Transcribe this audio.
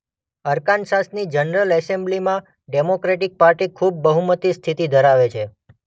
અરકાનસાસની general એસેમ્બલીમાં democratic party ખૂબ બહુમતી સ્થિતિ ધરાવે છે.